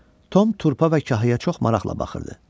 Tom turpa və kahaya çox maraqla baxırdı.